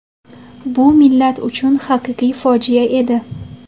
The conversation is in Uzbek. Bu millat uchun haqiqiy fojia edi.